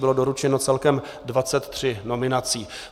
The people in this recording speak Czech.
Bylo doručeno celkem 23 nominací.